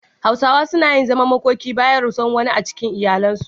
Hausawa suna yin zaman makoki bayan rasuwar wani a cikin iyali.